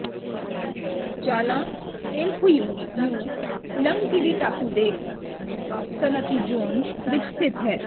ਜਾਲਾਂ ਤੇਲਖੁਯੂ ਯੂ ਲੰਗਕਿਵੀ ਟਾਪੂ ਦੇ ਸਨਅਤੀ ਜ਼ੋਨ ਵਿਚ ਸਥਿਤ ਹੈ